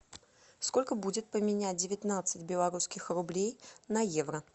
сколько будет поменять девятнадцать белорусских рублей на евро